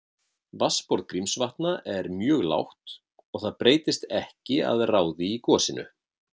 Vatnsborð Grímsvatna var mjög lágt og það breyttist ekki að ráði í gosinu.